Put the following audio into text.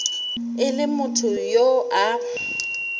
e le motho yo a